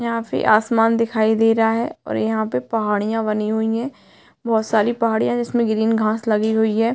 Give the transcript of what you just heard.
यहाँ पे आसमान दिखाई दे रहा है और यहाँ पे पहाड़ियाँ बनी हुवी है बहोत सारी पहाड़ियाँ जिसमें ग्रीन घास लगी हुई है।